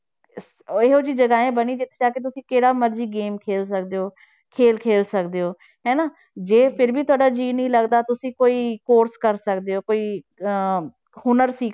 ਇਹੋ ਜਿਹੀ ਜਗ੍ਹਾਵਾਂ ਬਣੀ ਜਿੱਥੇ ਜਾ ਕੇ ਤੁਸੀਂ ਕਿਹੜਾ ਮਰਜ਼ੀ game ਖੇਲ ਸਕਦੇ ਹੋ ਖੇਲ ਖੇਲ ਸਕਦੇ ਹੋ, ਹਨਾ ਜੇ ਫਿਰ ਵੀ ਤੁਹਾਡਾ ਜੀਅ ਨੀ ਲੱਗਦਾ ਤੁਸੀਂ ਕੋਈ course ਕਰ ਸਕਦੇ ਹੋ ਕੋਈ ਅਹ ਹੁਨਰ ਸਿੱਖ